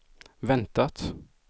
väntat